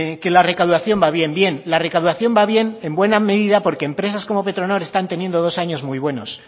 que la recaudación va bien bien la recaudación va bien en buena medida porque empresas como petronor están teniendo dos años muy buenos